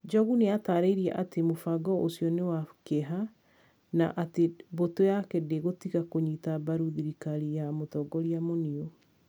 Njogu nĩ atarĩirie atĩ mũbango ũcio nĩ wa kĩeha, na atĩ mbũtũ yake ndĩgũtiga kũnyita mbaru thirikari ya Mũtongoria Muniu.